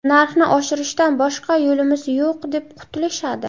Narxni oshirishdan boshqa yo‘limiz yo‘q deb qutulishadi.